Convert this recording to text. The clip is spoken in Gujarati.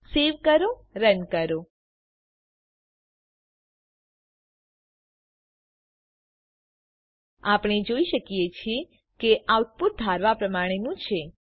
સવે કરો run કરો આપણે જોઈ શકીએ છીએ કે આઉટપુટ ધારવા પ્રમાણેનું છે